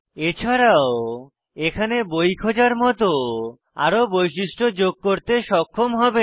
এছাড়াও এখানে বই খোঁজার মত আরো বৈশিষ্ট্য যোগ করতে সক্ষম হবেন